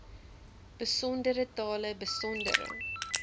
besondere tale besondere